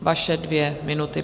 vaše dvě minuty.